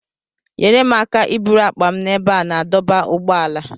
Nyere m aka iburu akpa m n'ebe a na-adọba ụgbọala.